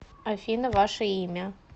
афина ваше имя